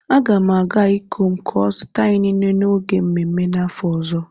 A ga m agaa ikom ka o zuta inine n'oge mmemme n'afo ozo.